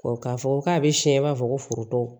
k'a fɔ k'a bɛ siɲɛ i b'a fɔ ko foroto